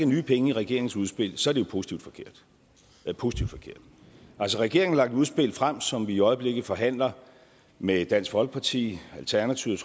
nye penge i regeringens udspil så er det jo positivt forkert det er positivt forkert altså regeringen har lagt et udspil frem som vi i øjeblikket forhandler med dansk folkeparti alternativet